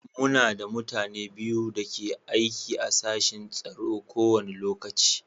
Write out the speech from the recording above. Muna da mutane biyu da ke aiki a sashin tsaro a kowane lokaci.